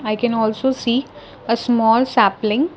i can also see a small sapling.